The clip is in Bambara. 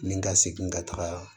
Ni ka segin ka taga